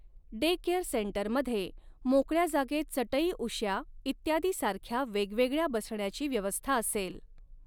Daycare सेंटरमध्ये मोकळ्या जागेत चटईउश्या इत्यादी सारख्या वेगवेगळ्या बसण्याची व्यवस्था असेल.